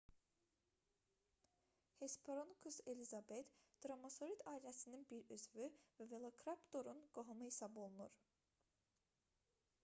hesperonychus elizabethae dromaeosaurid ailəsinin bir üzvü və velociraptor-un qohumu hesab olunur